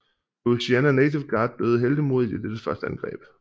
Louisiana Native Guard døde heltemodigt i dette første angreb